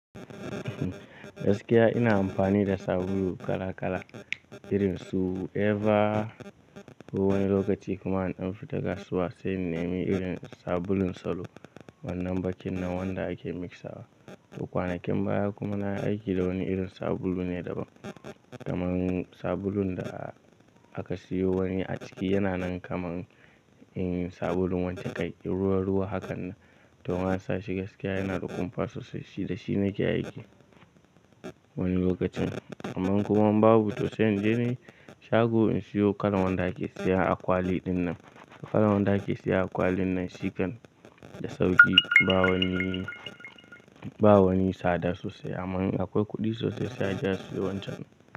Gaskiya ina amfani da sabulu kala kala irin su Eva. Ko wani lokaci kuma in ɗan fita kasuwa sai in nemi irin sabulun salo wannan bakin nan wanda ake mixawa. To kwanakin baya kuma nayi aiki da wani irin sabulu ne daban. Kaman sabulun da aka siyo wani a ciki yana nan kaman in sabulun wanca tai ruwa ruwa hakan nan. To in an sa shi gaskiya yana da kumfa sosai. Shi da shi nake aiki wani lokacin. Amman kuma in babu to sai in je ni shago in siyo kalan wanda ake siya a kwali dinnan. Kalan wanda ake siya a kwalin nan shi kan da sauƙi. Ba wani, ba wani tsada sosai. Amman in akwai kuɗi sosai sai a je a siyo wancan ɗin.